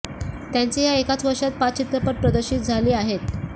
त्यांचे या एकाच वर्षात पाच चित्रपट प्रदर्शित झाले आहेत